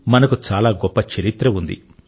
మనకు చాలా గొప్ప చరిత్ర ఉంది